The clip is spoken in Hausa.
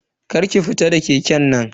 Kar ka fita da keken nan.